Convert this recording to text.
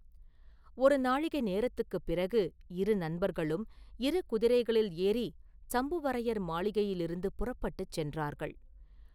ஒரு நாழிகை நேரத்துக்குப் பிறகு இரு நண்பர்களும் இரு குதிரைகளில் ஏறிச் சம்புவரையர் மாளிகையிலிருந்து புறப்பட்டுச் சென்றார்கள்.